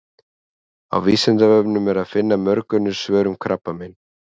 Á Vísindavefnum er að finna mörg önnur svör um krabbamein.